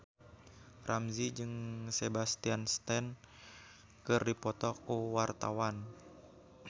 Ramzy jeung Sebastian Stan keur dipoto ku wartawan